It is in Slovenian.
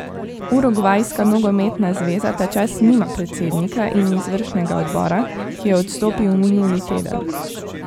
Urugvajska nogometna zveza ta čas nima predsednika in izvršnega odbora, ki je odstopil minuli teden.